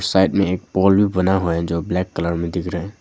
Side मे एक pole भी बना हुआ है जो ब्लैक कलर मे दिख रह रहा है।